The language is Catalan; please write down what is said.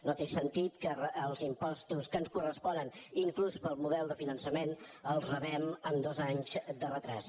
no té sentit que els impostos que ens corresponen inclús pel model de finançament els rebem amb dos anys de retard